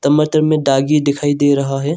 टमाटर में दागी दिखाई दे रहा है।